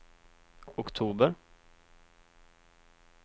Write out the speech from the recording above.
oktober